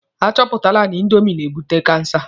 A chọpụtala na indomi na-ebute kansa.